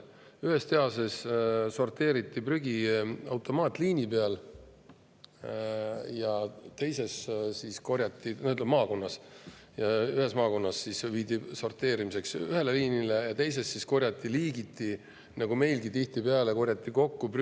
Ühes maakonnas sorteeriti prügi automaatliinil, see viidi sorteerimiseks ühele liinile, ja teises korjati seda liigiti nagu meilgi tihtipeale.